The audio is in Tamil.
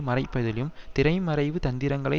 மறைப்பதிலும் திரைமறைவு தந்திரங்களை